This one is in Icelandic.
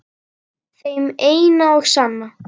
Þeim eina og sanna?